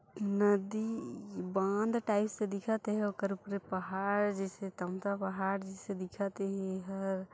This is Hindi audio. नदी बांध टाइप से दिखत हे ओकर उपरे पहाड़ जैसे तमता पहाड़ जैसे दिखत हे एहर--